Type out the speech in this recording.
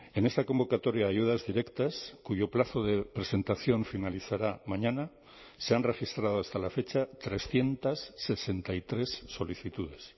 en esta convocatoria de ayudas directas cuyo plazo de presentación finalizará mañana se han registrado hasta la fecha trescientos sesenta y tres solicitudes